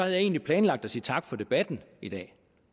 jeg egentlig planlagt at sige tak for debatten i dag